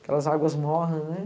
Aquelas águas mornas, né?